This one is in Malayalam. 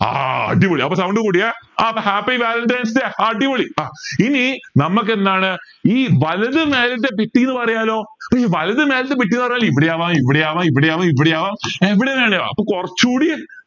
ആ അടിപൊളി അപ്പൊ sound കൂടിയേ ആ അപ്പൊ happy valentines day അടിപൊളി ആഹ് എനി നമ്മക്കെന്താണ് ഇനി കിട്ടീന്ന് പറയാലോ ഇനി വലത് മേലത്തെ പെട്ടി എന്ന് പറഞ്ഞ ഇവിടെ ആവാം ഇവിടെ ആവാം ഇവിടെ ആവാം ഇവിടെ ആവാം എവിടെ വേണേലും ആവാം അപ്പൊ കൊറച്ചൂടി